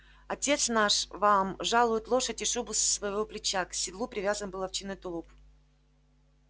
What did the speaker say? отец наш вам жалует лошадь и шубу с своего плеча к седлу привязан был овчинный тулуп